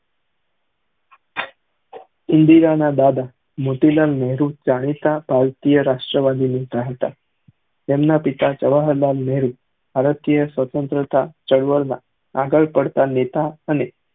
ઇન્દિરા ના દાદા મોતીલાલ નેહરુ રાષ્ટ્રીય વાદી હતા તેમના પિતા થી જવ્ર્હ્રલાલ નેહરુ ભારતીય સ્વનત્ર્ત્રા આગળ પડતા નેતા અને